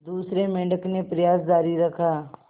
दूसरे मेंढक ने प्रयास जारी रखा